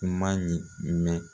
N man ɲi mɛn